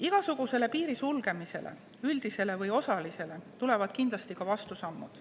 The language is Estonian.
Igasugusele piiri sulgemisele, üldisele või osalisele, tulevad kindlasti ka vastusammud.